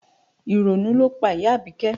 Ìrònú ló pa ìyá Abike